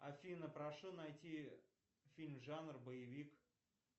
афина прошу найти фильм жанр боевик